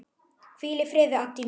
Hvíl í friði, Addý mín.